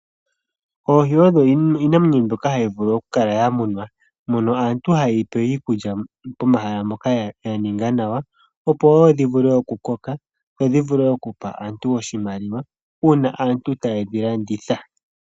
Oohi odho iinamwenyo mbyoka hayi munwa kaantu . Aantu ohaye yi pe iikulya mehala moka ya ninga . Opo dhi vule oku koka dho dhi vule oku pa aantu oshimaliwa uuna aantu tayedhi landitha.